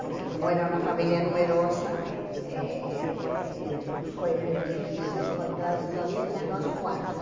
Porque como era uma família numerosa, eh foi difícil encontrar-se sozinhas, nós quatro.